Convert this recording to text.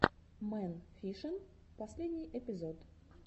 мэн фишин последний эпизод